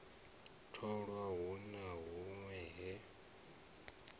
tholwa hu na hunwe he